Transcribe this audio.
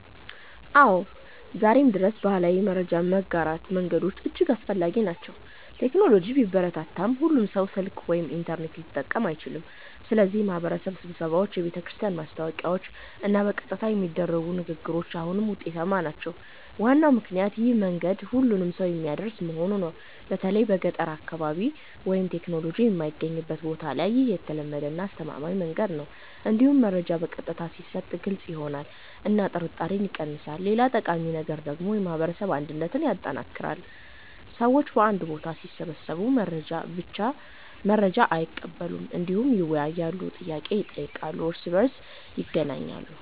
አዎ፣ ዛሬም ድረስ ባህላዊ የመረጃ ማጋራት መንገዶች እጅግ አስፈላጊ ናቸው። ቴክኖሎጂ ቢበረታም ሁሉም ሰው ስልክ ወይም ኢንተርኔት ሊጠቀም አይችልም፣ ስለዚህ የማህበረሰብ ስብሰባዎች፣ የቤተክርስቲያን ማስታወቂያዎች እና በቀጥታ የሚደረጉ ንግግሮች አሁንም ውጤታማ ናቸው። ዋናው ምክንያት ይህ መንገድ ሁሉንም ሰው የሚያደርስ መሆኑ ነው። በተለይ በገጠር አካባቢ ወይም ቴክኖሎጂ የማይገኝበት ቦታ ላይ ይህ የተለመደ እና አስተማማኝ መንገድ ነው። እንዲሁም መረጃ በቀጥታ ሲሰጥ ግልጽ ይሆናል እና ጥርጣሬ ይቀንሳል። ሌላ ጠቃሚ ነገር ደግሞ የማህበረሰብ አንድነትን ማጠናከር ነው። ሰዎች በአንድ ቦታ ሲሰበሰቡ ብቻ መረጃ አይቀበሉም፣ እንዲሁም ይወያያሉ፣ ጥያቄ ይጠይቃሉ እና እርስ በእርስ ይገናኛሉ።